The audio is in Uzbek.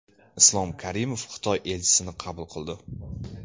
Islom Karimov Xitoy elchisini qabul qildi.